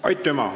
Aitüma!